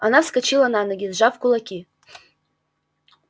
она вскочила на ноги сжав кулаки